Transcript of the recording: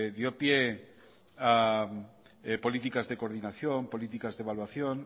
dio pie a políticas de coordinación políticas de evaluación